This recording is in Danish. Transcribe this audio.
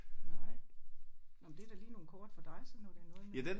Nej. Nåh men det er da lige nogle kort for dig sådan når det er noget med